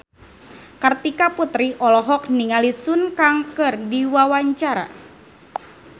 Kartika Putri olohok ningali Sun Kang keur diwawancara